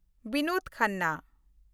Binod Khanna